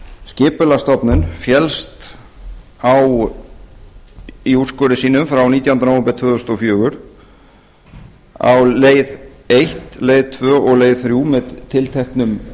skipulagsstofnun féllst á í úrskurði sínum frá nítjánda nóvember tvö þúsund og fjögur á leið ein leið tvö og leið þrjú með tilteknum